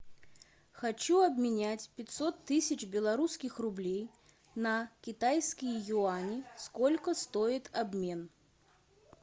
хочу обменять пятьсот тысяч белорусских рублей на китайские юани сколько стоит обмен